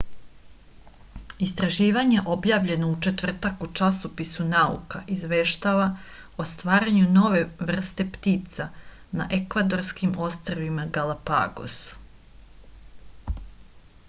istraživanje objavljeno u četvrtak u časopisu nauka izveštava o stvaranju nove vrste ptica na ekvadorskim ostrvima galapagos